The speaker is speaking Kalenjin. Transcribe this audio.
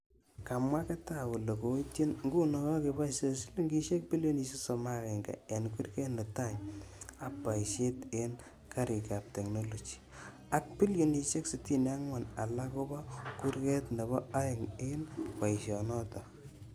Kamwa Getao kole koitchin nguno kagepaisyee silingilisiek bilionisiek 31 eng' kurget netai ap paisyeet eng' karik ap teknoloji, ak bilionisiek 64 alak kobo kurget nebo aeng' eng' paisyo notook.